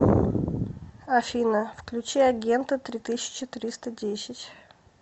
афина включи агента три тысячи триста десять